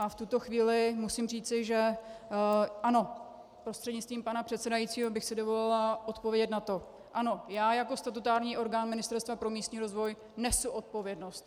A v tuto chvíli musím říci, že ano, prostřednictvím pana předsedajícího, bych si dovolila odpovědět na to, ano, já jako statutární orgán Ministerstva pro místní rozvoj nesu odpovědnost.